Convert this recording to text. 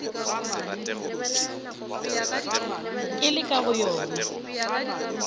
ke le ka go yona